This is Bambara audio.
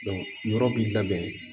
yɔrɔ b'i labɛn